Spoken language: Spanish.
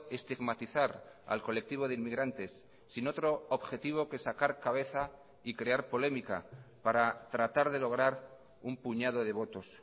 estigmatizar al colectivo de inmigrantes sin otro objetivo que sacar cabeza y crear polémica para tratar de lograr un puñado de votos